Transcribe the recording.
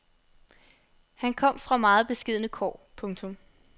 Han kom fra meget beskedne kår. punktum